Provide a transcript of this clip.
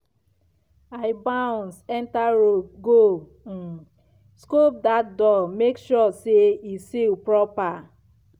i bounce enter robe go um scope that door make sure say e seal proper.